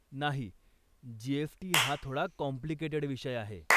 नाही, जी.एस.टी. हा थोडा कॉम्प्लिकेटेड विषय आहे.